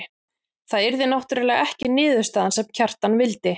Það yrði náttúrlega ekki niðurstaðan sem Kjartan vildi.